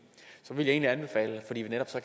så vil jeg egentlig anbefale det fordi vi så